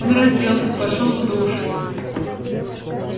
он разделся пошёл в душ